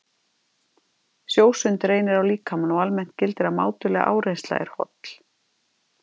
Sjósund reynir á líkamann og almennt gildir að mátuleg áreynsla er holl.